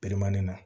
Bilemani na